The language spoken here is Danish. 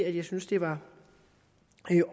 at jeg synes det var